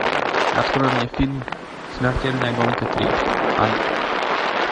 открой мне фильм смертельная гонка три ад